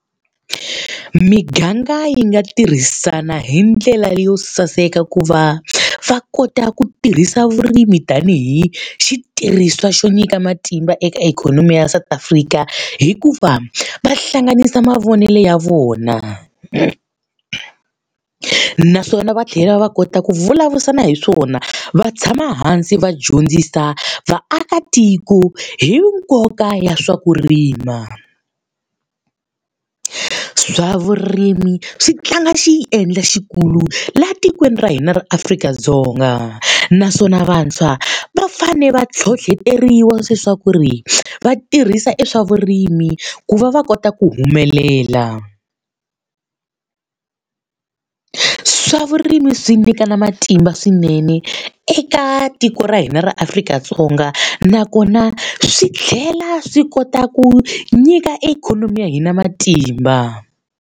Miganga yi nga tirhisana hi ndlela leyo saseka ku va va kota ku tirhisa vurimi tanihi xitirhisiwa xo nyika matimba eka ikhonomi ya South Africa hi ku va va hlanganisa mavonelo ya vona. Naswona va tlhela va kota ku vulavurisana hi swona, va tshama hansi va dyondzisa vaakatiko hi nkoka ya swa ku rima. Swa vurimi swi tlanga xi yi endla xikulu laha tikweni ra hina ra Afrika-Dzonga naswona vantshwa va fanele va ntlhontlheteriwa leswaku ri va tirhisa e swa vurimi ku va va kota ku humelela. Swa vurimi swi nyika na matimba swinene eka tiko ra hina ra Afrika-Dzonga nakona swi tlhela swi kota ku nyika ikhonomi ya hina matimba.